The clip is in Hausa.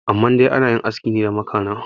amma dai ana yin aski ne da makana